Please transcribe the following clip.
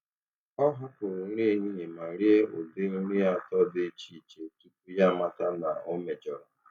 Ọ hapụrụ nri ehihie ma rie ụdị nri atọ dị iche iche tupu ya amata na ọ mejọrọ.